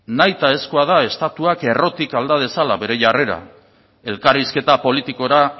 nahitaezkoa da estatuak errotik alda dezala bere jarrera elkarrizketa politikora